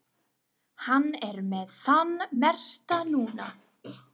Hann er með þann merkta núna.